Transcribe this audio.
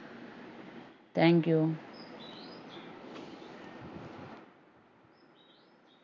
Thank you